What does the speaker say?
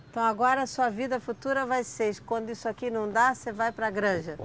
Então agora sua vida futura vai ser, quando isso aqui não dá, você vai para a granja?